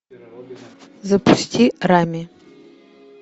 запусти рами